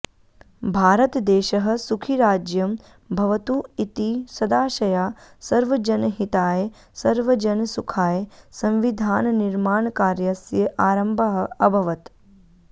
भारतदेशः सुखीराज्यं भवतु इति सदाशया सर्वजनहिताय सर्वजनसुखाय संविधाननिर्माणकार्यस्य आरम्भः अभवत्